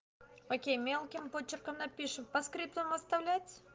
окей мелким почерком напишем поскриптум оставлять